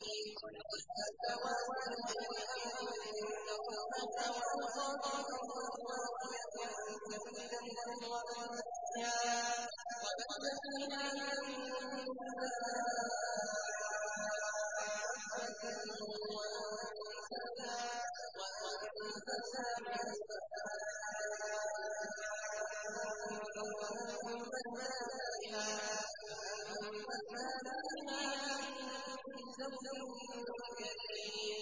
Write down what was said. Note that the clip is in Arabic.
خَلَقَ السَّمَاوَاتِ بِغَيْرِ عَمَدٍ تَرَوْنَهَا ۖ وَأَلْقَىٰ فِي الْأَرْضِ رَوَاسِيَ أَن تَمِيدَ بِكُمْ وَبَثَّ فِيهَا مِن كُلِّ دَابَّةٍ ۚ وَأَنزَلْنَا مِنَ السَّمَاءِ مَاءً فَأَنبَتْنَا فِيهَا مِن كُلِّ زَوْجٍ كَرِيمٍ